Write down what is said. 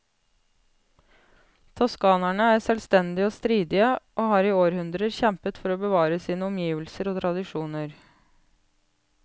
Toskanerne er selvstendige og stridige, og har i århundrer kjempet for å bevare sine omgivelser og tradisjoner.